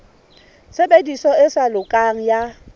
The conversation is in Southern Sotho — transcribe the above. tshebediso e sa lokang ya